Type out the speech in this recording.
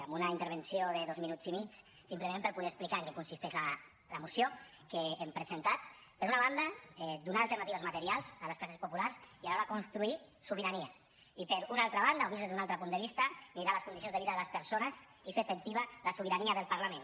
amb una intervenció de dos minuts i mig simplement per poder explicar en què consisteix la moció que hem presentat per una banda donar alternatives materials a les classes populars i alhora construir sobirania i per una altra banda o vist des d’un altre punt de vista millorar les condicions de vida de les persones i fer efectiva la sobirania del parlament